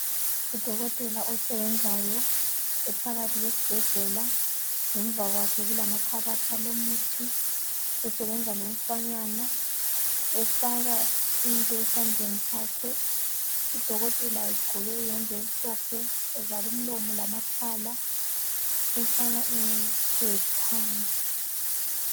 Udokotela osebenzayo ephakathi kwesibhedlela. Ngemuva kwakhe kulamakhabathi alomuthi esebenza lomfanyana efaka into esandleni sakhe, udokotela egqoke iyembe emhlophe, evale umlomo lamakhala, umfana ehlezi phansi